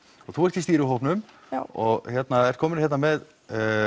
og þú ert í stýrihópnum og ert komin hérna með